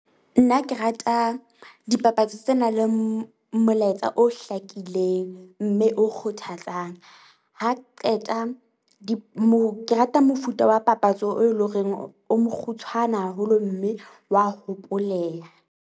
Nna ke rata dipapatso tse na leng molaetsa o hlakileng mme o kgothatsang. Ha qeta di ke rata mofuta wa papatso e eleng horeng o mokgutshwane haholo mme wa hopoleha.